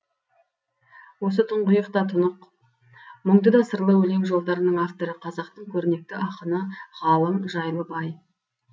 осы тұңғиық та тұнық мұңды да сырлы өлең жолдарының авторы қазақтың көрнекті ақыны ғалым жайлыбай